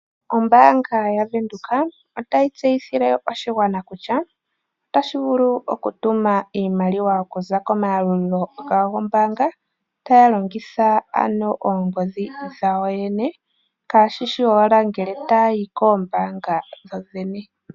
Ombanga yaVenduka otayi tseyithile oshigwana kutya otashi vulu okutuma iimaliwa okuza komayalulilo gawo gombanga taya longitha oongodhi dhawo yoyene kashishi owala ngele taya yi koombanga dhodhene.